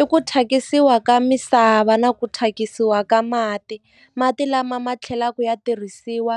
I ku thyakisiwa ka misava na ku thyakisiwa ka mati mati lama ma tlhelaka ya tirhisiwa